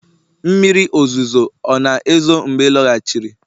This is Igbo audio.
mmiri ozuzo ọ̀ na-ezo mgbe ị lọghachiri?